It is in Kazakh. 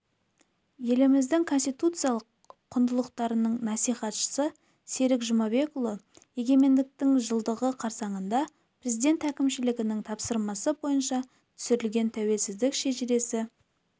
еліміздің конституциялық құндылықтарының насихатшысы серік жұмабекұлы егемендіктің жылдығы қарсаңында президент әкімшілігінің тапсырмасы бойынша түсірілген тәуелсіздік шежіресі